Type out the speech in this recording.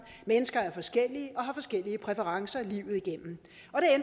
mennesker er forskellige og har forskellige præferencer livet igennem